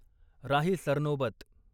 Rahi Sarnobat